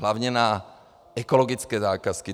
Hlavně na ekologické zakázky.